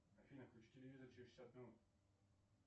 афина включи телевизор через шестьдесят минут